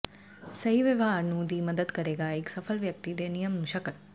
ਸਹੀ ਵਿਵਹਾਰ ਨੂੰ ਦੀ ਮਦਦ ਕਰੇਗਾ ਇੱਕ ਸਫਲ ਵਿਅਕਤੀ ਦੇ ਨਿਯਮ ਨੂੰ ਸ਼ਕਲ